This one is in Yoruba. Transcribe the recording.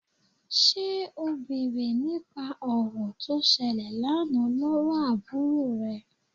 Ṣé o bèrè nípa ọ̀rọ̀ tó ṣẹlẹ̀ lánàá lọ́wọ́ àbúrò rẹ?